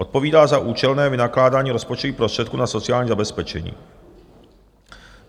odpovídá za účelné vynakládání rozpočtových prostředků na sociální zabezpečení,